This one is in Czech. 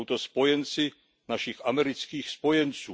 Jsou to spojenci našich amerických spojenců.